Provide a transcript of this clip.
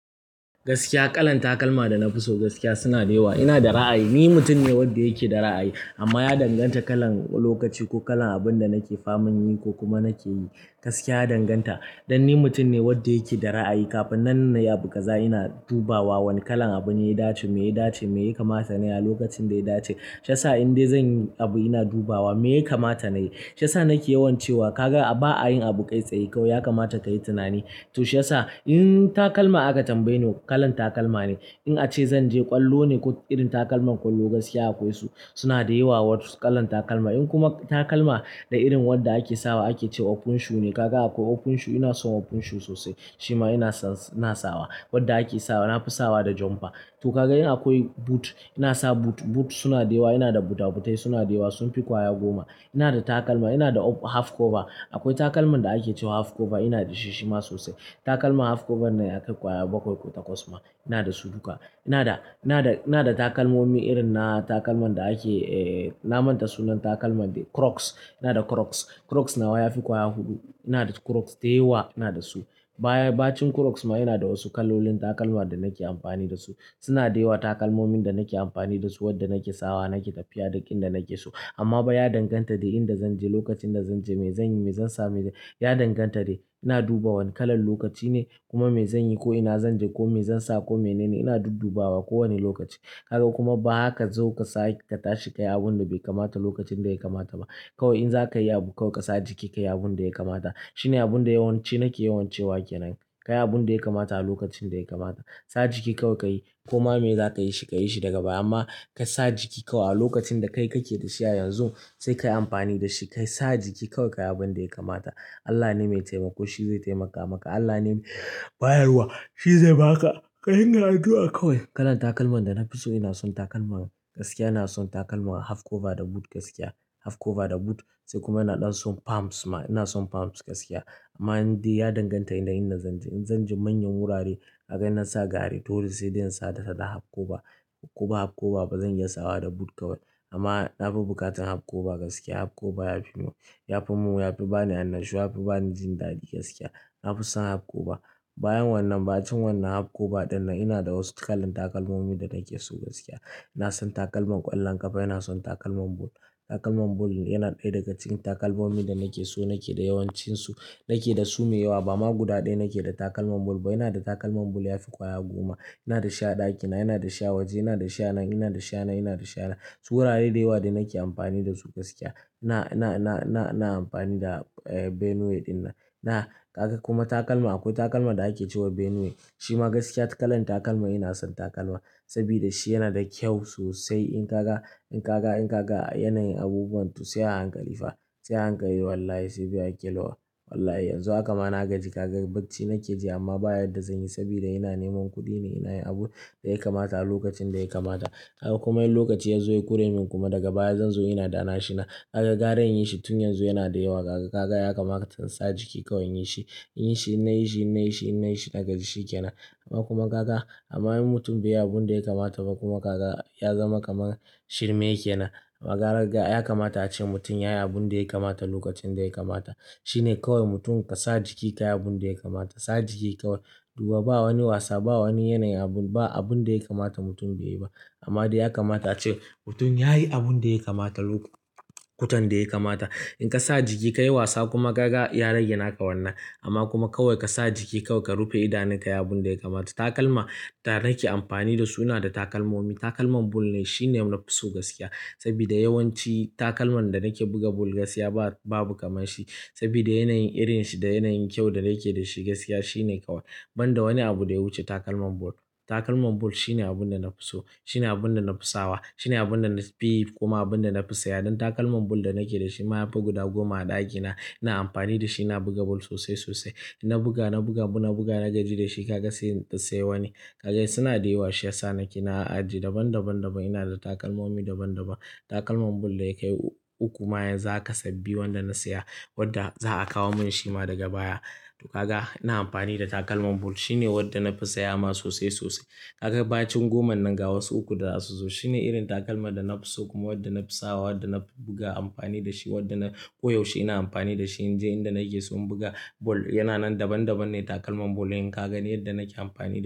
Gaskiya kalan takalma da na fi so gaskiya suna da yawa. Ina da ra'ayi, ni mutum ne wanda yake da ra'ayi amma ya danganta kalan lokaci ko kalan abin da nake faman yi ko kuma nake yi. Gaskiya ya danganta. Dan ni mutum ne wanda yake da ra'ayi, kafin na yi abu gaza ina dubawa wane kalan abu yayi daci, me yayi daci, me ya kamata nayi a lokacin da ya dace. Shi yasa in dai zan yi abu ina dubawa me ya kamata nayi. Sha sa nake yawan cewa ka ga ba a yin abu kai tsaye kau, ya kamata kayi tunani. To shi yasa in takalma aka tambaye ni, kalan takalma ne. In ace zan je ƙwallo ne ko irin takalman ƙwallo gaskiya akwai su, suna da yawa wasu kalan takalma. In kuma takalma da irin wanda ake sawa ake cewa open shoe ne. Ka ga akwai open shoe, ina son open shoe sosai. Shima ina na sawa wadda ake sawa. Na fi sawa da jumper. To ka ga in akwai boot ina sa boot. Boot suna da yawa, ina da bootabootai suna da yawa, sun fi ƙwaya goma. Ina da takalma, ina da half cover. Akwai takalman da ake cewa half cover ina da shi shima sosai. Takalma half cover ne ake ƙwaya bakwai ko takwas ma. Ina da su duka. Ina da, ina da, ina da takalmomi irin na takalman da ake, eh, na manta sunan takalman be, crocs. Ina da crocs. Crocs nawa ya fi ƙwaya huɗu. Ina da crocs da yawa ina da su. Bayan, bacin crocs ma ina da wasu kalolin takalma da nake amfani da su. Suna da yawa takalmomin da nake amfani da su, wanda nake sawa, nake tafiya da ƙin da nake so. Amma ba ya danganta da inda zanje, lokacin da zanje, me zanyi, me zansa, me ya danganta dai ina duba wane kalan lokaci ne kuma me zanyi ko ina zanje ko me zansa ko mene ne ina dudubawa kowane lokaci. Ka ga kuma ba zaka zo ku sa ka tashi ka yi abun da bai kamata lokacin da ya kamata ba. Kawai in zaka yi abu kau ka sa jiki ka yi abun da ya kamata. Shine abun da yawanci nake yawan cewa ke nan. Ka yi abun da ya kamata a lokacin da ya kamata. Sa jiki kau ka yi. Kuma me za ka yi shi ka yi shi daga baya. Amma ka sa jiki kau a lokacin da kai kake da shi a yanzu sai ka yi amfani da shi. Kai sa jiki kau ka yi abun da ya kamata. Allah ne mai taimako, shi zai taimaka maka. Allah ne bayarwa, shi zai ba ka. Kalan takalman da na fi so ina son takalman gaskiya ina son takalman half cover da boot gaskiya. Half cover da boot sai kuma ina ɗan son palms ma. Ina son palmp gaskiya. Amma in dai ya danganta yanayin inda zanje. In zanje manyan wurare ka ga ina sa gare dole sai dai in sa ta da half cover. Ko ba half cover ba zan iya sawa da boot kawai. Amma na fi buƙatar half cover gaskiya. Half cover ya fi ya fi mun, ya fi bani annashuwa, ya fi bani jin daɗi gaskiya. Na fi son half cover. Bayan wannan, bacin wannan half cover ɗin nan ina da wasu kalan takalmomin da nake so gaskiya. Ina son takalman ƙwallon ƙafa, ina son takalman boot. Takalman boot yana ɗaya daga cikin takalmomin da nake so nake da yawancin su. Nake da su mai yawa. Ba ma guda ɗaya nake da takalman boot ba. Ina da takalman boot ya fi ƙwaya goma. Ina da shi a ɗakina, ina da shi a waje, ina da shi a nan, ina da shi a nan, ina da shi a nan. Su wurare da yawa da nake amfani da su gaskiya. Ina, ina, ina, ina, ina amfani da Benue ɗin nan. Na, ka ga kuma takalma akwai takalma da ake cewa Benue. Shima gaskiya kalan takalma ina son takalma sabida shi yana da kyau sosai. In ka ga, in ka ga, in ka ga yanayin abubuwan to sai a hankali fa. Sai a hankali wallahi sabida ake lova. Wallahi yanzu haka ma na gaji ka ga bacci nake ji amma baya da zan yi sabida ina neman kuɗi ne, ina yin abun da ya kamata a lokacin da ya kamata. Kaga kuma yi lokaci ya zo ya kure ni kuma daga baya zan zo ina da'na shi na. Ka ga gare yin shi tun yanzu yana da yawa. Ka ga, ka ga ya kamata ka sa jiki kau yin shi. Yi shi ina yi shi, ina yi shi, ina yi shi na gaji shi ke nan. Amma kuma ka ga, amma yin mutum bai yi abun da ya kamata ba kuma ka ga ya zama kamar shirme yake nan. Ka gara ga ya kamata ace mutum yayi abun da ya kamata lokacin da ya kamata. Shine kawai mutum ka sa jiki ka yi abun da ya kamata. Sa jiki kau duba ba wani wasa, ba wani yanayin abu, ba abun da ya kamata mutum yayi ba. Amma dai ya kamata ace mutum yayi abun da ya kamata lok--. In ka sa jiki ka yi wasa kuma ka ga ya rage naka wannan. Amma kuma kawai ka sa jiki kau ka rufe idaneka, yi abun da ya kamata. Takalma da nake amfani da su suna da takalmomin. Takalman bol ne shine na fi so gaskiya sabida yawanci takalman da nake buga bol gaskiya ba, babu kamar shi sabida yanayin irin shi da yanayin kyau da yake da shi gaskiya shine kawai. Banda wani abu da ya wuce takalman bol. Takalman boot shine abun da na fi so. Shine abun da na fi sawa. Shine abun da na siɓi kuma abun da na fi saya. Dan takalman bol da nake da shi ma ya fi guda goma a ɗakina. Ina amfani da shi ina buga bol sosai sosai. Ina buga, na buga bu, na buga na gaji da shi ka ga sai, sai wani. Ka ga suna da yawa sha sa nake na aji daban daban daban. Ina da takalmomin daban daban. Takalman boot da ya kai uku ma yanzu aka sabi wanda na saya wadda za a kawo min shi ma daga baya. To ka ga ina amfani da takalman bol shine wadda nafi saya ma sosai sosai. Ka ga bacin goman nan ga wasu uku da asusu shine irin takalma da na fi so kuma wadda na fi sawa, wadda na buga amfani da shi, wadda na koyaushe ina amfani da shi. In je inda nake so in buga boot. Yana nan daban daban ne takalman boot in ka gani yadda nake amfani da su.